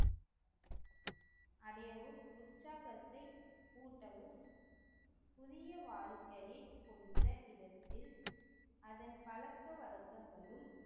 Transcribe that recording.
அடையவும் உற்சாகத்தை ஊட்டவும் புதிய வாழ்க்கையை கொடுத்த இடத்தில் அதன் பழக்கவழக்கங்களும்